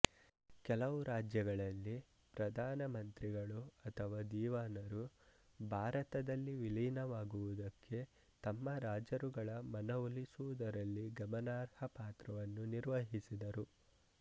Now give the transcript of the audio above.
ಕೆಲವು ರಾಜ್ಯಗಳಲ್ಲಿ ಪ್ರಧಾನ ಮಂತ್ರಿಗಳು ಅಥವಾ ದೀವಾನರು ಭಾರತದಲ್ಲಿ ವಿಲೀನವಾಗುವುದಕ್ಕೆ ತಮ್ಮ ರಾಜರುಗಳ ಮನವೊಲಿಸುವುದರಲ್ಲಿ ಗಮನಾರ್ಹ ಪಾತ್ರವನ್ನು ನಿರ್ವಹಿಸಿದರು